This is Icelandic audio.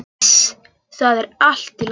Iss, það er allt í lagi.